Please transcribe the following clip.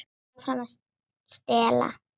Ég hélt áfram að stela.